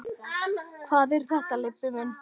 Hvað er þetta, Leibbi minn.